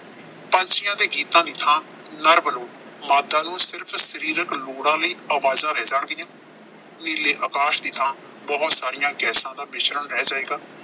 ਪੰਛੀਆਂ ਦੇ ਗੀਤਾਂ ਦੀ ਥਾਂ ਨਰ ਵੱਲੋਂ ਮਾਦਾ ਨੂੰ ਸਿਰਫ਼ ਸਰੀਰਕ ਲੋੜਾਂ ਲਈ ਆਵਾਜ਼ਾਂ ਰਹਿ ਜਾਣਗੀਆਂ। ਨੀਲੇ ਆਕਾਸ਼ ਦੀ ਥਾਂ ਬਹੁਤ ਸਾਰੀਆਂ ਗੈਸਾਂ ਦਾ ਮਿਸ਼ਰਣ ਰਹਿ ਜਾਏਗਾ।